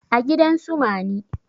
a gidan su mani